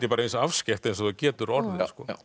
bara eins afskekkt eins og það getur orðið